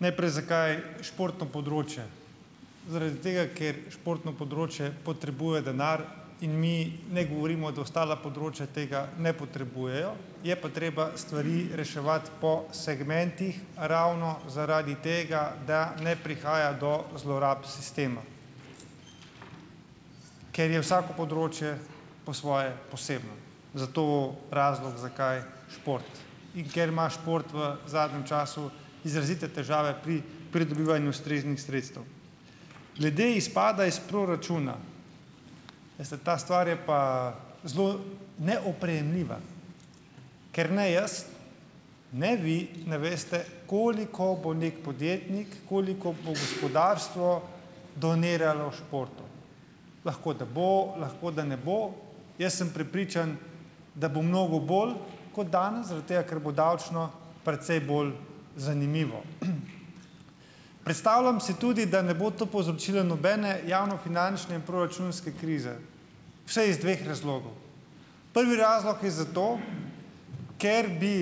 Najprej, zakaj športno področje? Zaradi tega, ker športno področje potrebuje denar in mi ne govorimo, da ostala področja tega ne potrebujejo, je pa treba stvari reševati po segmentih ravno zaradi tega, da ne prihaja do zlorab sistema, ker je vsako področje po svoje posebno. Zato razlog, zakaj šport, in ker ima šport v zadnjem času izrazite težave pri pridobivanju ustreznih sredstev. Glede izpada iz proračuna, veste, ta stvar je pa zelo neoprijemljiva, ker ne jaz ne vi ne veste, koliko bo neki podjetnik, koliko bo gospodarstvo doniralo športu. Lahko, da bo, lahko, da ne bo. Jaz sem prepričan, da bo mnogo bolj kot danes, zaradi tega, ker bo davčno precej bolj zanimivo. Predstavljam si tudi, da ne bo to povzročilo nobene javnofinančne in proračunske krize. Vsaj iz dveh razlogov - prvi razlog je zato, ker bi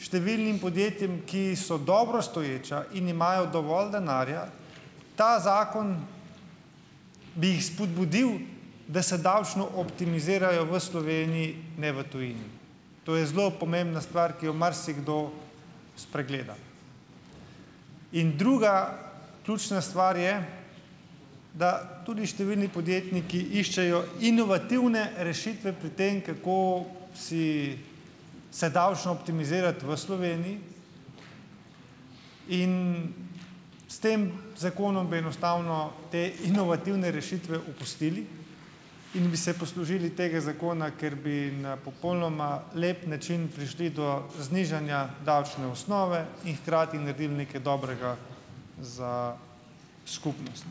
številnim podjetjem, ki so dobro stoječa in imajo dovolj denarja, ta zakon bi jih spodbudil, da se davčno optimizirajo v Sloveniji, ne v tujini, to je zelo pomembna stvar, ki jo marsikdo spregleda in druga ključna stvar je, da tudi številni podjetniki iščejo inovativne rešitve pri tem, kako si, se davčno optimizirati v Sloveniji in s tem zakonom bi enostavno te inovativne rešitve opustili in bi se poslužili tega zakona, ker bi na popolnoma lep način prišli do znižanja davčne osnove in hkrati naredili nekaj dobrega za skupnost.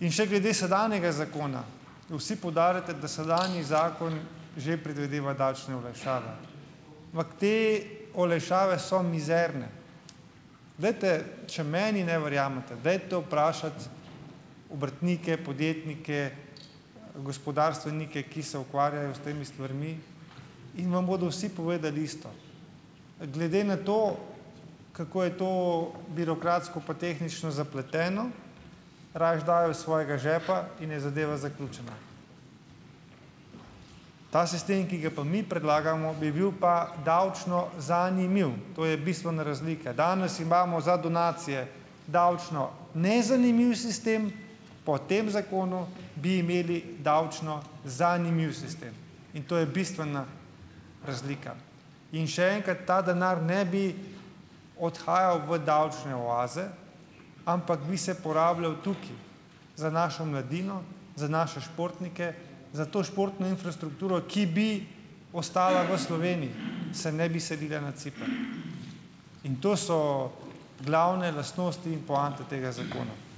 In še glede sedanjega zakona. Vsi poudarjate, da sedanji zakon že predvideva davčne olajšave, ampak te olajšave so mizerne. Glejte, če meni ne verjamete, dajte vprašati obrtnike, podjetnike, gospodarstvenike, ki se ukvarjajo s temi stvarmi in vam bodo vsi povedali isto. Glede na to, kako je to birokratsko pa tehnično zapleteno, rajši dajo iz svojega žepa in je zadeva zaključena. Ta sistem, ki ga pa mi predlagamo, bi bil pa davčno zanimiv, to je bistvena razlika. Danes imamo za donacije davčno nezanimiv sistem, po tem zakonu bi imeli davčno zanimiv sistem, in to je bistvena razlika in še enkrat, ta denar ne bi odhajal v davčne oaze, ampak bi se porabljal tukaj, za našo mladino, za naše športnike, za to športno infrastrukturo, ki bi ostala v Sloveniji, se ne bi selila na Ciper in to so glavne lastnosti in poante tega zakona.